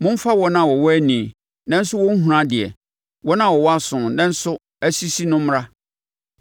Momfa wɔn a wɔwɔ ani, nanso wɔnhunu adeɛ wɔn a wɔwɔ aso nanso asisi no mmra.